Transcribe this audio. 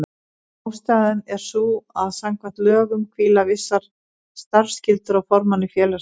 Ástæðan er sú að samkvæmt lögum hvíla vissar starfsskyldur á formanni félagsins.